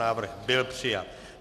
Návrh byl přijat.